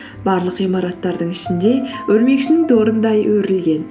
барлық ғимараттардың ішінде өрмекшінің торындай өрілген